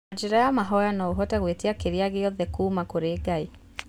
Na njĩra ya mahoya noũhote gwĩtia kĩrĩagiothe kuma kũrĩ Ngai